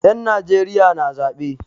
Yan Najeriya na zaɓe.